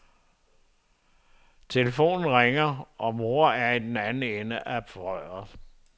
Telefonen ringer, og mor er i den anden ende af røret.